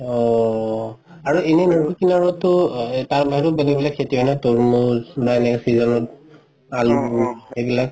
অ আৰু এনে আৰু বেলেগ বেলেগ খেতি হয় ন তৰমুজ বা এনেকুৱা season ত এইবিলাক